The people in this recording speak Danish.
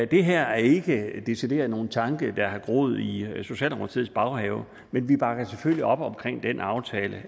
det her er ikke decideret nogen tanke der har groet i socialdemokratiets baghave men vi bakker selvfølgelig op om den aftale